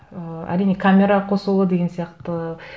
ы әрине камера қосулы деген сияқты